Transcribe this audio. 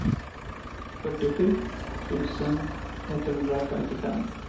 fyrtiosju tusen etthundrafemtiofem